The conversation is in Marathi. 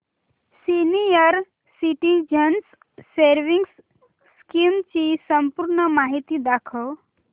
सीनियर सिटिझन्स सेविंग्स स्कीम ची संपूर्ण माहिती दाखव